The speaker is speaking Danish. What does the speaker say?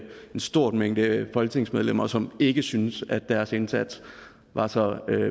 stor mængde folketingsmedlemmer som ikke syntes at deres indsats var så